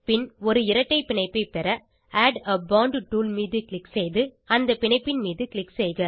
பின் ஒரு இரட்டை பிணைப்பை பெற ஆட் ஆ போண்ட் டூல் மீது க்ளிக் செய்து அந்த பிணைப்பின் மீது க்ளிக் செய்க